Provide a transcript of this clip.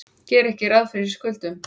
Gera ekki ráð fyrir skuldunum